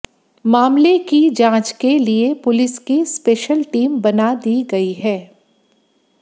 मामले की जांच के लिए पुलिस की स्पेशल टीम बना दी गई है